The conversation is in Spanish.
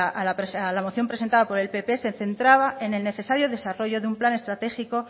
a la moción presentada por el pp se centraba en el necesario desarrollo de un plan estratégico